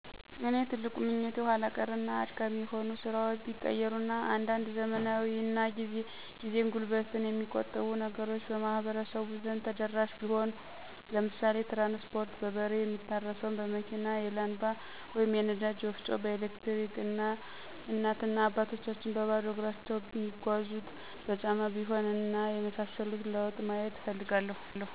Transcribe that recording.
የኔ ትልቁ ምኞቴ ኋላ ቀር እና አድካሚ የሆ ስራዎች ቢቀየሩ እና አንዳንድ ዘመናዊ እና ጊዜን፣ ጉልበትን የሚቆጥቡ ነገሮች በማህበረሰቡ ዘንድ ተደረሽ ቢሆን። ለምሳሌ ትራንስፖርት፣ በበሬ ሚታረሰውን በመኪና፣ የላንባ/የነዳጅ ወፍጮ በኤሌክትሪከ፣ እናት እና አባቶቻችን በባዶ እግራቸው ሚጓዙት በጫማ ቢሆን እና የመሳሰሉት ለውጥ ማየት እፈልጋለሁ።